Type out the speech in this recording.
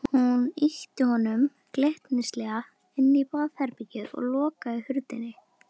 Hún ýtti honum glettnislega inn í herbergið og lokaði hurðinni.